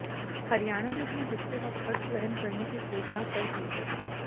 हरियाणा ने अपने हिस्से का खर्च वहन करने की घोषणा कर दी है